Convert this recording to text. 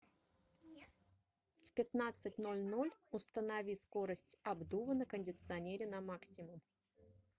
в пятнадцать ноль ноль установи скорость обдува на кондиционере на максимум